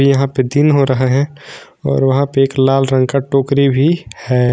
यहां पे दिन हो रहा है और वहां पे एक लाल रंग का टोकरी भी है।